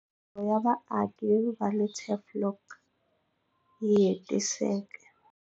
Milorho ya vaaki va le Tafelkop yi hetiseka